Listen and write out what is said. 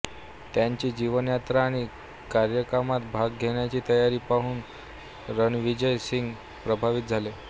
त्यांची जीवनयात्रा आणि कार्यक्रमात भाग घेण्याची तयारी पाहून रणविजय सिंह प्रभावित झाले